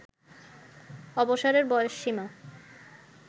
অবসরের বয়সসীমা